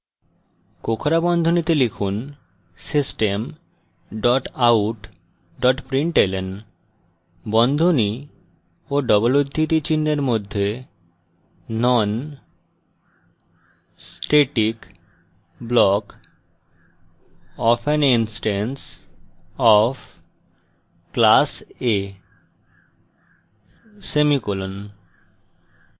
কোঁকড়া বন্ধনীতে লিখুন system dot out dot println বন্ধনী of double উদ্ধৃতি চিনহের মধ্যে non static block of an instance of class a semicolon